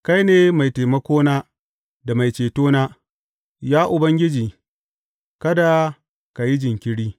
Kai ne mai taimakona da mai cetona; Ya Ubangiji, kada ka yi jinkiri.